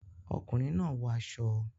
Ọkùnrin náà wọ aṣọ